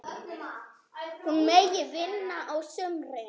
Hún megi vinna á sumrin.